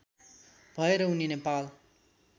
भएर उनी नेपाल